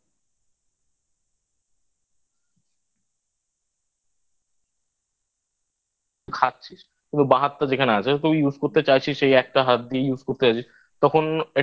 খাচ্ছিস কিন্তু বা হাতটা যেখানে আছে আমি কবে Use করতে চাইছিস সেই একটা হাত দিয়েই Use করতে চাইছিস তখন